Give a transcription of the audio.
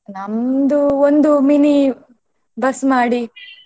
ನಮ್ದು ಒಂದು mini bus ಮಾಡಿ.